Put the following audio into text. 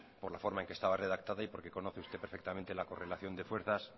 por la forma en que estaba redactada y porque conoce usted perfectamente la correlación de fuerzas